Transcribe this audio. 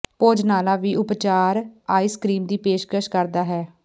ਭੋਜਨਾਲਾ ਵੀ ਉਪਚਾਰ ice cream ਦੀ ਪੇਸ਼ਕਸ਼ ਕਰਦਾ ਹੈ